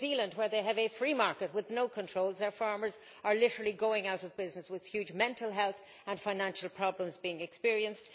In New Zealand, where they have a free market with no controls, their farmers are literally going out of business with huge mental health and financial problems being experienced.